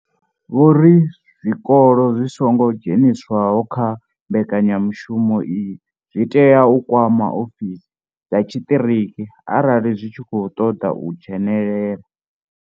Vho ri zwikolo zwi songo dzheniswaho kha mbekanyamushumo iyi zwi tea u kwama ofisi dza tshiṱiriki arali zwi tshi khou ṱoḓa u dzhenela.